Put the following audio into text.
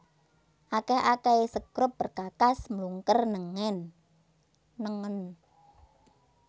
Akèh akèhé sekrup perkakas mlungker nengen